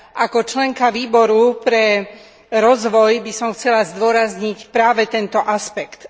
Ako členka Výboru pre rozvoj by som chcela zdôrazniť práve tento aspekt.